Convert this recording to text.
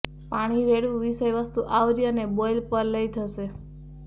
પાણી રેડવું વિષયવસ્તુ આવરી અને બોઇલ પર લઈ જશે